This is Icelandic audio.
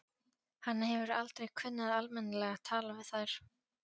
Hann hefur aldrei kunnað almennilega að tala við þær.